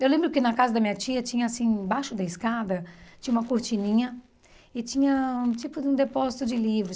Eu lembro que na casa da minha tia, tinha assim embaixo da escada, tinha uma cortininha e tinha um tipo de um depósito de livros.